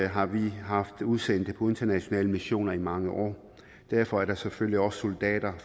har vi haft udsendte på internationale missioner i mange år derfor er der selvfølgelig også soldater